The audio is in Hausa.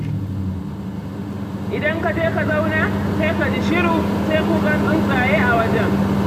Idan ka je ka zauna, sai ka ji shiru, sai kukan tsuntsaye a wajen.